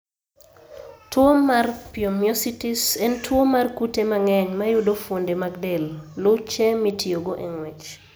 Tuwo mar pyomyositis en tuwo mar kute mang'eny mayudo fuonde mag del (luche mitiyogo e ng'wech).